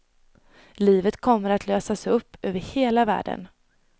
Livet kommer att lösas upp, över hela världen.